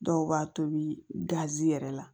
Dɔw b'a tobi gazi yɛrɛ la